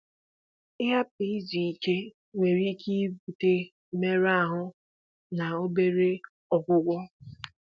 Ịhapụ izu ike nwere ike ibute mmerụ ahụ na obere ọgwụgwọ